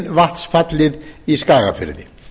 eru meginvatnsfallið í skagafirði